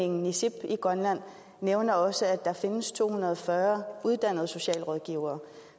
niisip i grønland nævner også at der findes to hundrede og fyrre uddannede socialrådgivere